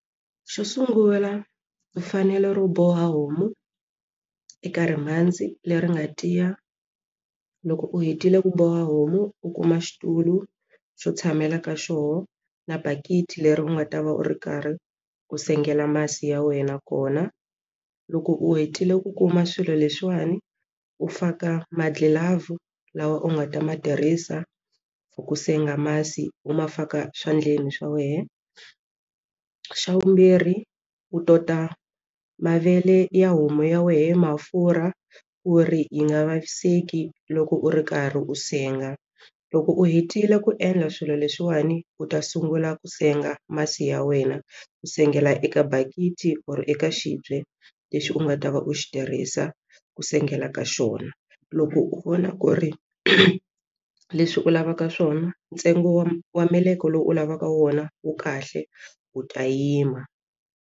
Xo sungula mfanelo ro boha homu eka ri mhandzi leri nga tiya loko u hetile ku boha homu u kuma xitulu xo tshamela ka xona na bakiti leri u nga ta va u ri karhi ku sengela masi ya wena kona loko u hetile ku kuma swilo leswiwani u faka magilavhu lawa u nga ta ma tirhisa for ku senga masi u ma faka swandleni swa wena xa vumbirhi u tota mavele ya homu ya wehe mafurha ku ri yi nga vaviseki loko u ri karhi u senga loko u hetile ku endla swilo leswiwani u ta sungula ku senga masi ya wena u sengela eka bakiti or eka xibye lexi u nga ta va u xi tirhisa ku sengela ka xona loko u vona ku ri leswi u lavaka swona ntsengo wa wa meleke lowu u lavaka wona wu kahle u ta yima.